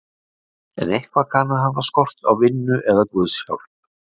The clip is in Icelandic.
En eitthvað kann að hafa skort á vinnu eða guðs hjálp.